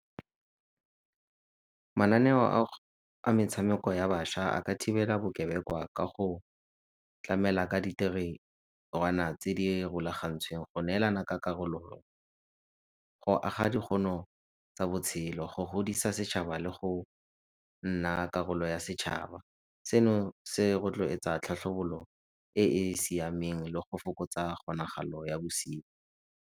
Mananeo a metshameko ya bašwa a ka thibela bokebekwa ka go tlamela ka ditirelwana tse di rulagantsweng, go neelana ka karolo, go aga tsa botshelo, go godisa setšhaba le go nna karolo ya setšhaba. Seno se rotloetsa tlhatlhobolo e e siameng le go fokotsa kgonagalo ya bosenyi.